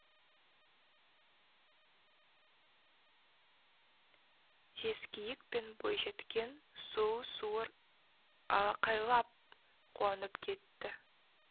жезкиік пен бойжеткен сұлу суыр алақайлап қуанып кетті